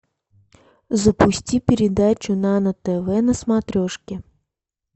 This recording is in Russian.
запусти передачу нано тв на смотрешке